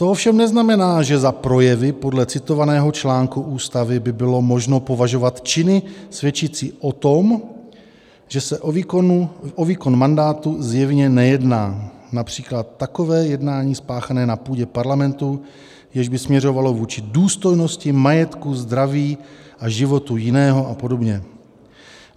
To ovšem neznamená, že za projevy podle citovaného článku Ústavy by bylo možno považovat činy svědčící o tom, že se o výkon mandátu zjevně nejedná, například takové jednání spáchané na půdě Parlamentu, jež by směřovalo vůči důstojnosti, majetku, zdraví a životu jiného a podobně.